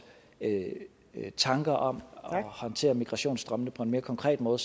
tanker om at håndtere migrationsstrømmene på en mere konkret måde